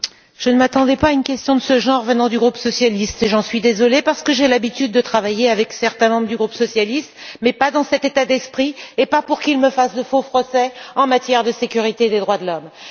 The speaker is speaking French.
Je ne m'attendais pas à une question de ce genre venant du groupe socialiste, et j'en suis désolée parce que j'ai l'habitude de travailler avec certains membres de ce groupe, mais pas dans cet état d'esprit, et pas pour qu'il me fasse de faux procès en matière de sécurité et des droits de l'homme.